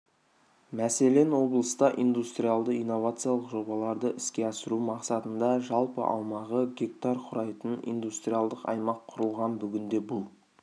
мәселен облыста индустриялды-инновациялық жобаларды іске асыру мақсатында жалпы аумағы гектар құрайтын индустриалдық аймақ құрылған бүгінде бұл